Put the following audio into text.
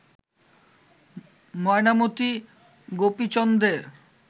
Mainamati গোপীচন্দ্রের